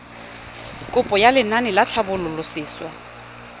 kopo ya lenaane la tlhabololosewa